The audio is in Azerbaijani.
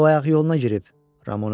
O ayaq yoluna girib, Ramona dedi.